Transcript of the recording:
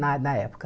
Na na época.